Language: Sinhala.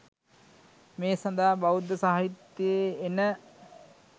මේ සඳහා බෞද්ධ සාහිත්‍යයේ එන